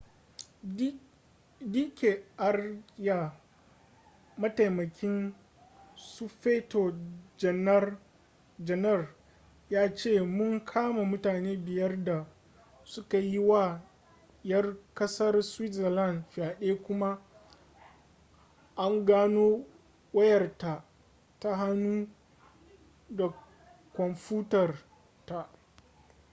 d k arya mataimakin sufeto janar ya ce mun kama mutane biyar da suka yi wa yar kasar switzerland fyade kuma an gano wayarta ta hannu da kwamfutar taa